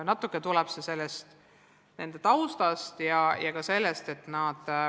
Natuke tuleb see ka nende kultuuritaustast.